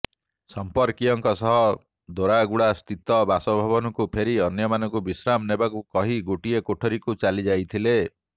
ସଂପର୍କୀୟଙ୍କ ସହ ଦୋରାଗୁଡା ସ୍ଥିତ ବାସଭବନକୁ ଫେରି ଅନ୍ୟମାନଙ୍କୁ ବିଶ୍ରାମ ନେବାକୁ କହି ଗୋଟିଏ କଠୋରୀକୁ ଚାଲି ଯାଇଥିଲେ